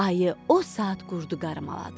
Ayı o saat qurdu qarmaladı.